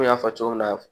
Komi n y'a fɔ cogo min na